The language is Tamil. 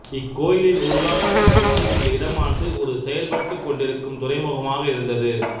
இக்கோயிலின் உருவாக்கத்தின் போது இந்த இடமானது ஒரு செயல்பட்டுக் கொண்டிருந்த துறைமுகமாக இருந்தது